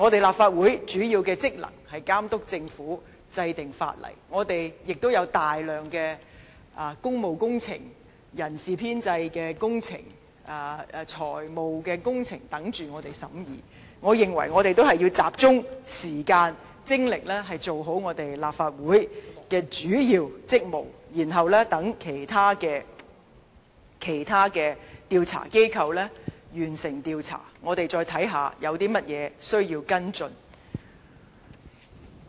立法會主要的職能是監督政府，制定法例，我們亦有大量工務工程、人事編制及財務項目等候我們審議，我認為我們應集中時間和精力做好立法會的主要職務，待其他調查機構完成調查，我們再看看有甚麼需要跟進。